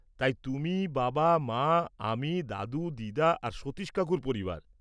-তাই তুমি, বাবা মা, আমি, দাদু দিদা আর সতীশ কাকুর পরিবার।